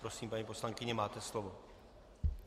Prosím, paní poslankyně, máte slovo.